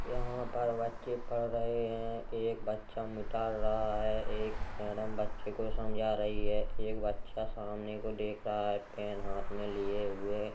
यहां पर बच्चे पढ़ रहे हैं एक बच्चा मिटा रहा है एक मैडम बच्चे को समझा रही है एक बच्चा सामने को देख रहा है पेन हाथ में लिए हुए --